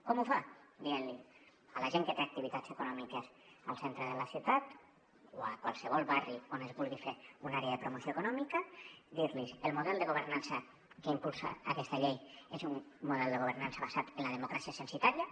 com ho fa dient li a la gent que té activitats econòmiques al centre de la ciutat o a qualsevol barri on es vulgui fer una àrea de promoció econòmica el model de governança que impulsa aquesta llei és un model de governança basat en la democràcia censatària